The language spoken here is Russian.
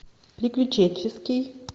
приключенческий